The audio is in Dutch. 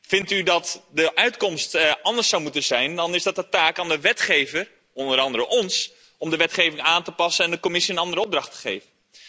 Vindt u dat de uitkomst anders zou moeten zijn, dan is dat de taak van de wetgever onder andere wij hier om de wetgeving aan te passen en de Commissie een andere opdracht te geven.